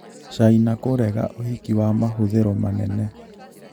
caina kũrega ũhiki wa mahũthĩro manene